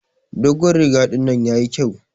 Dogon riga dinnan yayi kƴau